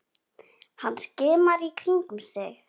Hann skimar í kringum sig.